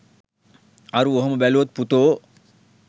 අරූ ඔහොම බැලුවොත් පුතෝ